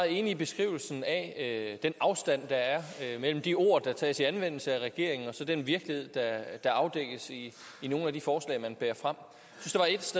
enig i beskrivelsen af den afstand der er mellem de ord der tages i anvendelse af regeringen og så den virkelighed der afdækkes i nogle af de forslag man bærer frem